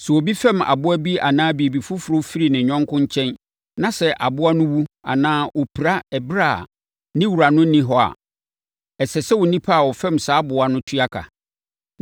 “Sɛ obi fɛm aboa bi anaa biribi foforɔ bi firi ne yɔnko nkyɛn na sɛ aboa no wu anaa ɔpira ɛberɛ a ne wura no nni hɔ a, ɛsɛ sɛ onipa a ɔfɛm saa aboa no tua ka.